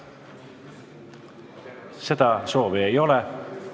Seda soovi ei ole.